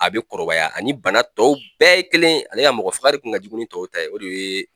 A be kɔrɔbaya ani bana tɔw bɛɛ ye kelen ye ale ka mɔgɔ faka de kun ka jugu ni tɔw ta ye o de ye